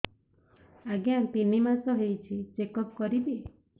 ଆଜ୍ଞା ତିନି ମାସ ହେଇଛି ଚେକ ଅପ କରିବି